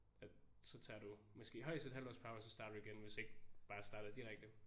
At så tager du måske højest et halvt års pause så starter du igen hvis ikke bare starter direkte